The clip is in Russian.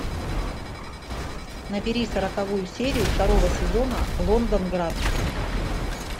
набери сороковую серию второго сезона лондонград